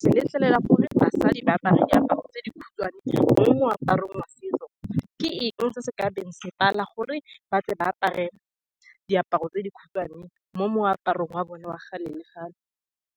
se letlelela gore basadi ba apare diaparo tse di khutshwane mo moaparong wa setso, ke eng se se kabeng se pala gore ba tle ba apare diaparo tse di khutshwane mo moaparong wa bone wa gale le gale.